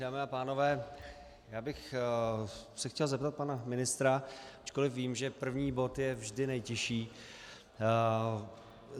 Dámy a pánové, já bych se chtěl zeptat pana ministra, ačkoliv vím, že první bod je vždy nejtěžší.